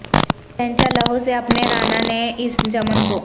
سینچا لہو سے اپنے رانا نے اس چمن کو